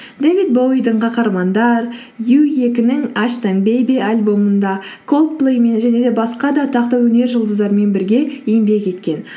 дэвид боуидің қаһармандар ю екінің аштон бейби альбомында колдплэймен және де басқа да атақты өнер жұлдыздарымен бірге еңбек еткен